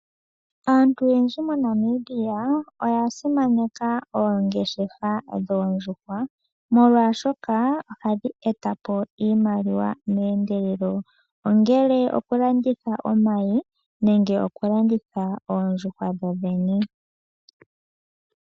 Aantu oyendji moNamibia oya simaneka oongeshefa dhoondjuhwa molwashoka ohadhi eta po iimaliwa meendelelo, ongele okulanditha omayi nenge okulanditha oondjuhwa dhodhene.